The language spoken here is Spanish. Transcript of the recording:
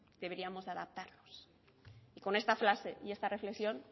deberíamos de adaptarnos y con esta frase y esta reflexión